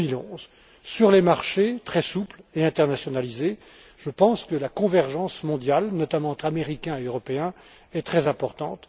fin 2011. Sur les marchés très souples et internationalisés, je pense que la convergence mondiale, notamment entre Américains et Européens, est très importante.